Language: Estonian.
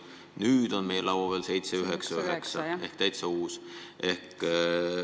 Nüüd on meie laua peal 799 SE ehk täiesti uus variant.